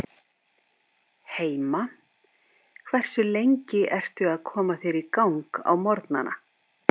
Heima Hversu lengi ertu að koma þér í gang á morgnanna?